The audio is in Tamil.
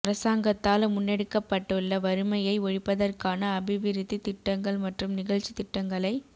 அரசாங்கத்தால் முன்னெடுக்கப்பட்டுள்ள வறுமையை ஒழிப்பதற்கான அபிவிருத்தி திட்டங்கள் மற்றும் நிகழ்ச்சி திட்டங்களை